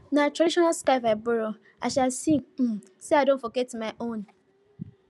na traditional scarf i borrow as i see um say i don forget carry my own